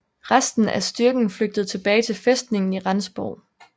Resten af styrken flygtede tilbage til fæstningen i Rendsborg